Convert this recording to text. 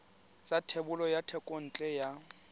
sa thebolo ya thekontle ya